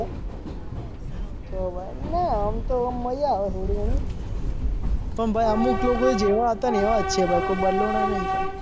તો ભાઈ ના આમ તો આમ મજા આવે થોડી ઘણી પણ ભાઈ અમુક લોકો જેવા હતા ને એવા જ છે કોઈ બદલાના નથી ભાઈ.